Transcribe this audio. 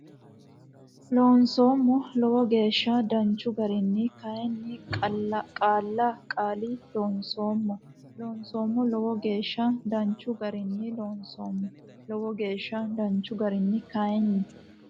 Loonseemmo Lowo geeshsha danchu garinni kayinni qaalla qaali loonsoommo Loonseemmo Lowo geeshsha danchu garinni Loonseemmo Lowo geeshsha danchu garinni kayinni.